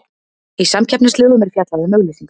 Í samkeppnislögum er fjallað um auglýsingar.